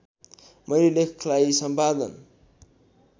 मेरो लेखलाई सम्पादन